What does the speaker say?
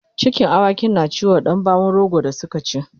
cikin awakin na ciwo Dan bawon rogo da Suka ci